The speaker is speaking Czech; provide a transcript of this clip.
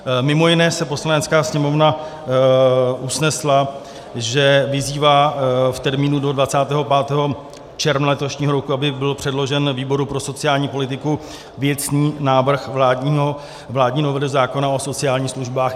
Mimo jiné se Poslanecká sněmovna usnesla, že vyzývá v termínu do 25. června letošního roku, aby byl předložen výboru pro sociální politiku věcný návrh vládní novely zákona o sociálních službách.